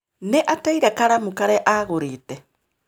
Nĩ ateire karamu karĩa aagũrĩte